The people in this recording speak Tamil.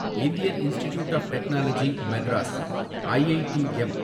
Indian Institute of Technology Madras, IITM